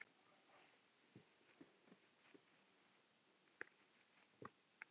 Hann lítur til beggja hliða.